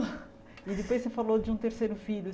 E depois você falou de um terceiro filho.